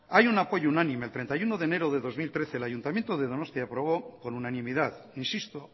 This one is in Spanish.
hay un apoyo unánime el treinta y uno de enero de dos mil trece el ayuntamiento de donostia aprobó con unanimidad insisto